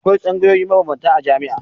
Akwai tsangayoyi mabambanta a jami'a.